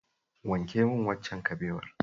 Wanke min waccan kabewar.